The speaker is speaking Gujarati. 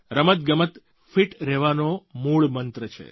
રમતગમત ફિટ રહેવાનો મૂળ મંત્ર છે